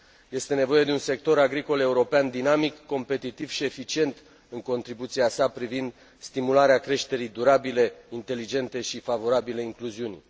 Este nevoie de un sector agricol european dinamic, competitiv și eficient în contribuția sa privind stimularea creșterii durabile, inteligente și favorabile incluziunii.